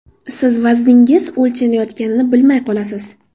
Siz vazningiz o‘lchanayotganini bilmay qolasiz.